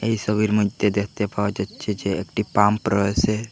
এই সবির মইধ্যে দেখতে পাওয়া যাচ্ছে যে একটি পাম্প রয়েসে।